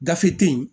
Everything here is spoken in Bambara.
Gafe te yen